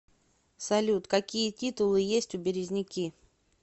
салют какие титулы есть у березники